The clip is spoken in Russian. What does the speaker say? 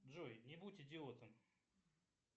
джой не будь идиотом